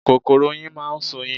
Kòkòrò oyin máa ṣoyin.